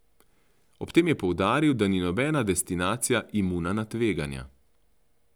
Ob tem je poudaril, da ni nobena destinacija imuna na tveganja.